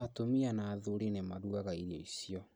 Atumia na athuri nĩmarugaga irio icio